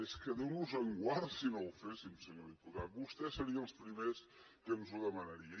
és que déu nos en guard si no ho féssim senyor diputat vostès serien els primers que ens ho demanarien